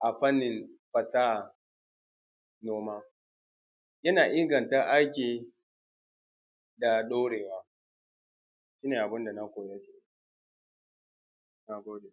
anfani gona da yawa fiye da noman gargajiya, noman gargajiya wahala ne kawai mutum ze riƙa yi, shi ne abin da na koya. Na gode.